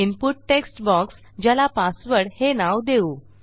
input text box ज्याला password हे नाव देऊ